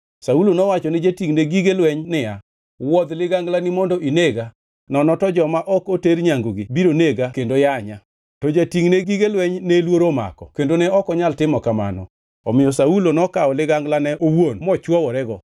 Saulo nowacho ni jatingʼne gige lweny niya, “Wuodh liganglani mondo inega nono to joma ok oter nyangigi biro nega kendo yanya.” To jatingʼne gige lweny ne luoro omako kendo ne ok onyal timo kamano, omiyo Saulo nokawo liganglane owuon mochwoworego.